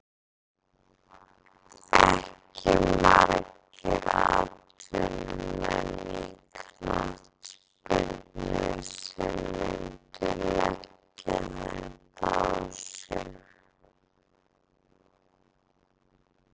Ekki margir atvinnumenn í knattspyrnu sem myndu leggja þetta á sig.